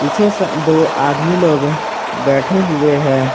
पीछे से दो आदमी लोग बैठे हुए हैं।